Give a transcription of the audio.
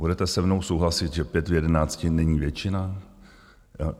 Budete se mnou souhlasit, že pět z jedenácti není většina?